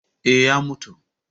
Eh, ya mutu